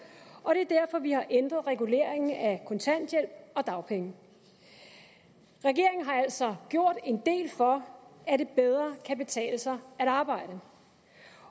og det er derfor vi har ændret reguleringen af kontanthjælp og dagpenge regeringen har altså gjort en del for at det bedre kan betale sig at arbejde